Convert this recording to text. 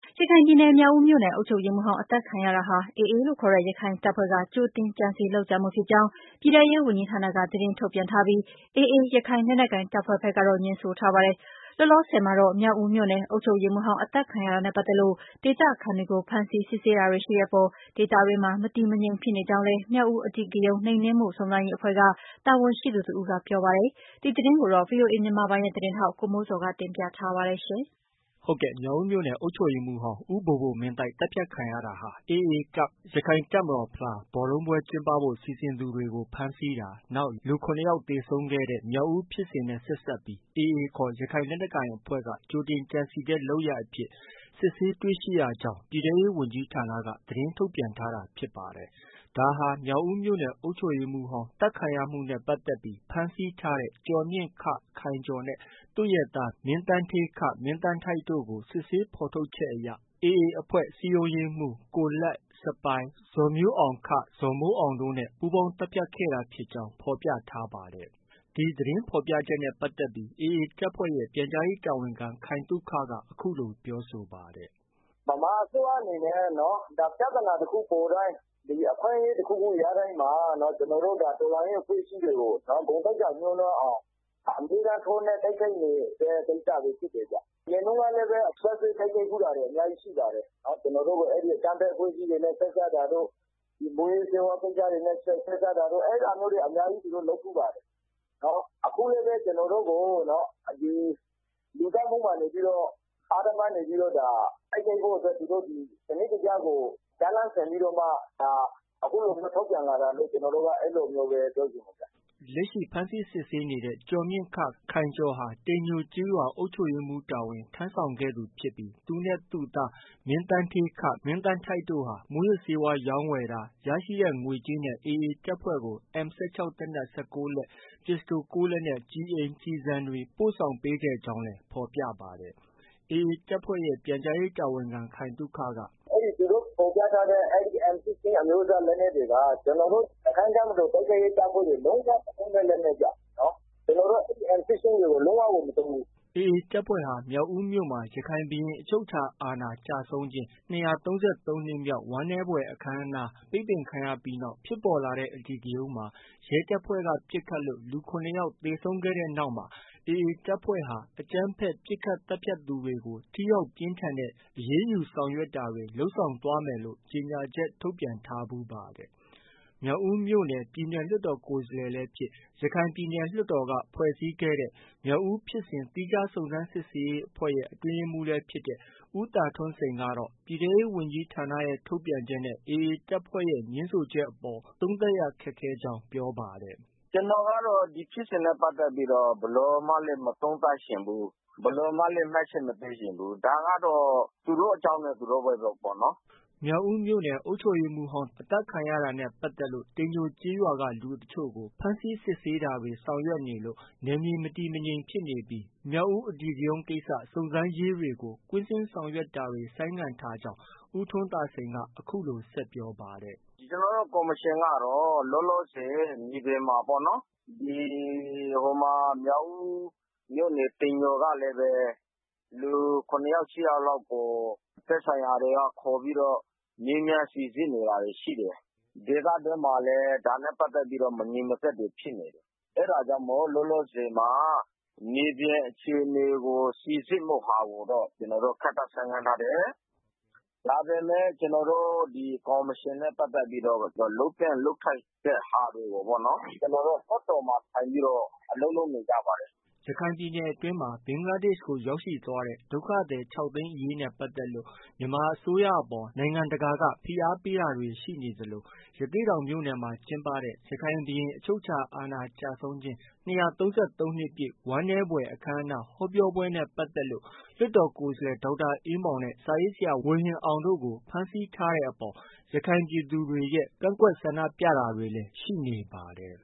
ရခိုင်ပြည်နယ် မြောက်ဦးမြို့နယ် အုပ်ချုပ်ရေးမှုးဟောင်း သတ်ခံမှုဟာ AA ခေါ် ရခိုင်တပ်ဖွဲ့က ကြိုတင်ကြံစည် လုပ်ကြံမှုဖြစ်ကြောင်း ပြည်ထဲရေးဝန်ကြီးဌာနက သတင်း ထုတ်ပြန်ထားပြီး AA ခေါ် ရခိုင်လက်နက်ကိုင် တပ်ဖွဲ့ကတော့ ငြင်းဆိုထားပါတယ်။ လောလောဆည်မှာတော့ မြောက်ဦးမြို့နယ် အုပ်ချုပ်ရေးမှုးဟောင်း အသတ်ခံရတာနဲ့ ပတ်သက်လို့ ဒေသခံတွေကို ဖမ်းဆီး စစ်ဆေးတာတွေ ရှိတဲ့အပေါ် ဒေသတွင်းမှာ မတည်မငြိမ် ဖြစ်နေကြောင်းလည်း မြောက်ဦးအဓိကရုဏ်းနှိမ်နင်းမှုစုံစမ်းရေး အဖွဲ့က တာဝန်ရှိသူတဦးက ပြောပါတယ်။ ဒီသတင်းကိုတော့ ဗွီအိုအေမြန်မာပိုင်းရဲ့ သတင်းထောက် ကိုမိုးဇေ်ာက တင်ပြထားပါတယ်။ ဟုတ်ကဲ့။ မြောက်ဦးမြို့နယ် အုပ်ချုပ်ရေးမှုးဟောင်း ဦးဘိုဘိုမင်းသိုက် သတ်ဖြတ်ခံရတာဟာ AA Cup ဘော်လုံးပွဲကျင်းပဖို့ စီစဉ်သူတွေကို ဖမ်းဆီးတာ၊ နောက် လူ၇ယောက်သေဆုံးခဲ့တဲ့ မြောက်ဦးဖြစ်စဉ်နဲ့ဆက်စပ်ပြီး AAခေါ် ရခိုင်လက်နက်ကိုင်အဖွဲ့က ကြိုတင်ကြံစည်တဲ့ လုပ်ရပ်အဖြစ် စစ်ဆေးတွေ့ရှိရကြောင်း ပြည်ထဲရေးဝန်ကြီးဌာနက သတင်းထုတ်ပြန်ထားတာဖြစ်ပါတယ်။ ဒါဟာ မြောက်ဦးမြို့နယ် အုပ်ချုပ်ရေးမှုးဟောင်း သတ်ခံရမှုနဲ့ပတ်သက်ပြီး ဖမ်းဆီးထားတဲ့ ကျော်မြင့် ခိုင်ကျော်နဲ့ သူ့ရဲ့သား မင်းသန်းဌေး မင်းသန်းထိုက်တို့ကို စစ်ဆေးဖော်ထုတ်ချက်အရ AA အဖွဲ့စည်းရုံးရေးမှုး ကိုလတ်၊ စပိုင်၊ ဇော်မျိုးအောင် ဇော်မိုးအောင်တို့ နဲ့ ပူးပေါင်း သတ်ဖြတ်ခဲ့တာဖြစ်ကြောင်း ဖော်ပြထားပါတယ်။ ဒီသတင်းဖော်ပြချက်နဲ့ပတ်သက်ပြီး AA တပ်ဖွဲ့ရဲ့ ပြန်ကြားရေးတာဝန်ခံ ခိုင်သုခက အခုလို ပြောဆိုပါတယ်။ “ ဗမာအစိုးရအနေနဲ့ ပြဿနာတခုပေါ်တိုင်း၊ အခွင့်အရေးတခုခု ရတိုင်းမှာ ကျနော်တို့ တော်လှန်ရေး အဖွဲ့အစည်းတွေကို ဂုဏ်သိက္ခာ ညိုှးနွမ်းအောင် အမြဲတမ်းထိုးနှက် တိုက်ခိုက်နေတဲ့ ကိစ္စတွေဖြစ်တယ်ဗျ။ အရင်တုံးကလည်းပဲ စွပ်စွဲတိုက်ခိုက်ဖူးတာတွေ အများကြီးရှိပါတယ်။ ကျနော်တို့ကို အဲဒီ အကြမ်းဖက် အဖွဲ့အစည်းတွေနဲ့ ဆက်စပ်တာတို့၊ မူးယစ်ဆေးဝါး ကိစ္စတွေနဲ့ ဆက်စပ်တာတို့ အဲဒါမျိုးတွေ အများကြီး သူတို့ လုပ်ဖူးပါတယ်။ အခုလည်းပဲ ကျနော်တို့ကို လူသတ်မှုမှာနေပြီးတော့ အဓမ္မအနေနဲ့ တိုက်ခိုက်ဖို့အတွက် သူတို့ ဒီစနစ်တကျကို ဇာတ်လမ်းဆင်ပြီးမှ အခုလိုမျိုး ထုတ်ပြန်လာတာလို့ အဲလိုမျိုးပဲ ပြောချင်တယ်ဗျ။” လက်ရှိ ဖမ်းဆီးစစ်ဆေးနေတဲ့ ဦးကျော်မြင့် ခိုင်ကျော်ဟာ တိမ်ညိုကျေးရွာ အုပ်ချုပ်ရေးမှုး တာဝန် ထမ်းဆောင်ခဲ့သူ ဖြစ်ပြီး သူနဲ့ သူ့သား မင်းသန်းဌေး မင်းသန်းထိုက် တို့ဟာ မူးယစ်ဆေးဝါးရောင်းဝယ်တာ၊ ရရှိတဲ့ ငွေကြေးနဲ့ AAတပ်ဖွဲ့ကို M 16 သေနတ် ၁၉လက်၊ ပစ္စတို ၄လက်နဲ့ ကျည်အိမ်၊ ကျည်ဆံတွေ ပို့ဆောင် ပေးခဲ့ကြောင်းလည်း ဖော်ပြပါတယ်။ AA တပ်ဖွဲ့ရဲ့ ပြန်ကြားရေးတာဝန်ခံ ခိုင်သုခက “ အဲဒီ သူတို့ ဖော်ပြထားတဲ့ M 16 လက်နက်တွေက ကျနော်တို့ ရခိုင်တပ်မတော် တိုက်ခိုက်ရေးတပ်ဖွဲ့တွေမှာ လုံး၀ မသုံးတဲ့ လက်နက်ဗျ။ ကျနော်တို့ M16 တွေကို လုံးဝကို မသုံးဘူး။ ” AA တပ်ဖွဲ့ဟာ မြောက်ဦးမြို့မှာ ရခိုင်ဘုရင်အချုပ်အခြာအာဏာ ကျဆုံးခြင်း ၂၃၃နှစ်ပြည့် ဝမ်းနည်းဖွယ် အခမ်းအနား ပိတ်ပင်ခံရပြီးနောက် ဖြစ်ပေါ်လာတဲ့ အဓိကရုဏ်းမှာ ရဲတပ်ဖွဲ့က ပစ်ခတ်လို့ လူ ၇ယောက် သေဆုံးခဲ့တဲ့နောက်မှာတော့ AA တပ်ဖွဲ့က အကြမ်းဖက် ပစ်ခတ်သတ်ဖြတ်သူတွေကို ထိရောက်ပြင်းထန်တဲ့ အရေးယူဆောင်ရွက်တာတွေ လုပ်ဆောင်သွားမယ်လို့ ကြေညာချက် ထုတ်ပြန်ထားဖူးပါတယ်။ မြောက်ဦးမြို့နယ်က ပြည်နယ်လွှတ်တော် ကိုယ်စားလှယ်လည်းဖြစ်၊ ရခိုင်ပြည်နယ် လွှတ်တော်က ဖွဲ့စည်းခဲ့တဲ့ မြောက်ဦးဖြစ်စဉ် သီးခြားစုံစမ်းစစ်ဆေးရေးအဖွဲ့ရဲ့ အတွင်းရေးမှုးလည်း ဖြစ်တဲ့ ဦးထွန်းသာစိန်ကတော့ ပြည်ထဲရေးဝန်ကြီးဌာန ထုတ်ပြန်ချက်နဲ့ AA တပ်ဖွဲ့ရဲ့ ငြင်းဆိုချက်အပေါ် သုံးသပ်ရခက်ခဲကြောင်း ပြောပါတယ်။ “ ကျနေ်ာကတော့ ဒီဖြစ်စဉ်နဲ့ပတ်သက်ပြီးတော့ ဘယ်လိုမှလည်း မသုံးသပ်ချင်ဘူး။ ဘယ်လိုမှလည်း မှတ်ချက်မပေးချင်ဘူး။ ဒါကတော့ သူတို့အကြောင်းနဲ့ သူတို့ပဲပေါ့နော်။” မြောက်ဦးမြို့နယ်အုပ်ချုပ်ရေးမှုးဟောင်း အသတ်ခံရတာနဲ့ ပတ်သက်လို့ တိမ်ညိုကျေးရွာက လူတချို့ကို ဖမ်းဆီးစစ်ဆေးတာတွေ ဆောင်ရွက်နေလို့ နယ်မြေ မတည်မငြိမ်ရှိနေပြီး မြောက်ဦးအဓိကရုဏ်းကိစ္စ စုံစမ်းရေးတွေကို ကွင်းဆင်းဆောင်ရွက်တာတွေ ဆိုင်းငံ့ထားကြောင်း ဦးထွန်းသာစိန်က အခုလို ဆက်ပြောပါတယ်။ “ ကျနော်တို့ ကော်မရှင်ကတော့ လောလောဆည် မြေပြင်မှာ မြောက်ဦးမြို့နယ် တိမ်ညိုကလည်းပဲ လူ ၇ယောက် ၈ယောက်လောက်ကို သက်ဆိုင်ရာတွေက ခေါ်ပြီးတော့ မေးမြန်းစိစစ်နေတာတွေ ရှိတယ်။ ဒေသတွင်းမှာလည်း ဒါနဲ့ပတ်သက်ပြီး မငြိမ်မသက်တွေ ဖြစ်နေတယ်။ အဲဒါကြောင့်မို့လို့ လောလောဆည်မှာ မြေပြင်အခြေအနေကို စိစစ်မှုဟာကိုတော့ ကျနော်တို့ ခေတ္တဆိုင်းငံ့ထားတယ်။ ဒါပေမဲ့ ကျနော်တို့ ကော်မရှင်နဲ့ပတ်သက်ပြီးတော့ လုပ်သင့်လုပ်ထိုက်တဲ့ဟာတွေကိုပေါ့နော်၊ ကျနော်တို့ လွှတ်တော်မှာ ထိုင်ပြီးတော့ အလုပ်လုပ်နေကြပါတယ်။ ” ရခိုင်ပြည်နယ်အတွင်းမှာ ဘင်္ဂလားဒေ့ရှ်ကို ရောက်ရှိသွားတဲ့ ဒုက္ခသည် ၆သိန်းအရေးနဲ့ ပတ်သက်လို့ မြန်မာအစိုးရအပေါ် နိုင်ငံတကာက ဖိအားပေးတာတွေ ရှိနေသလို ရသေ့တောင်မြို့မှာ ကျင်းပတဲ့ ရခိုင်ဘုရင် အချုပ်အခြာအာဏာကျဆုံးခြင်း ၂၃၃နှစ်ပြည့် ဝမ်းနည်းဖွယ် အခမ်းအနား ဟောပြောပွဲနဲ့ပတ်သက်လို့ လွှတ်တော်ကိုယ်စားလှယ် ဒေါက်တာအေးမောင်နဲ့ စာရေးဆရာ ဝေဟင်အောင်တို့ကို ဖမ်းဆီးထားတဲ့အပေါ် ရခိုင်ပြည်သူတွေရဲ့ ကန့်ကွက်ဆန္ဒပြတာတွေလည်း ရှိနေပါတယ်